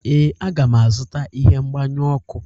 Ee, a ga m azụta ihe mgbanyụ ọkụ